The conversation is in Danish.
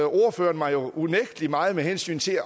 ordføreren mig jo unægtelig meget med hensyn til